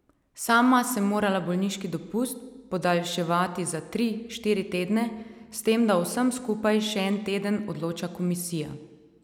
Sama sem morala bolniški dopust podaljševati za tri, štiri tedne, s tem, da o vsem skupaj še en teden odloča komisija.